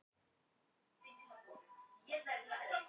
Kristján Már Unnarsson: Þetta er náttúrulega bara eins og dropi í hafið?